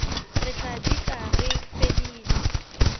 re tla dika re fedile